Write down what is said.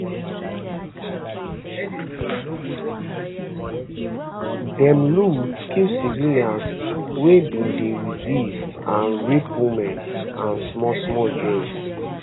dem loot kill civilians wey bin dey resist and rape women and smallsmall girls